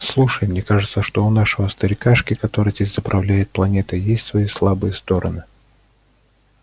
слушай мне кажется что у нашего старикашки который здесь заправляет планетой есть свои слабые стороны